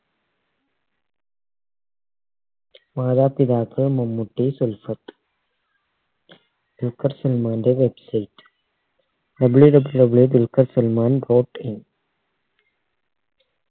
മാതാപിതാക്കൾ മമ്മൂട്ടി സുൽഫത്ത് ദുൽഖർ സൽമാൻറെ website WWW Dulquer Salmaan dot in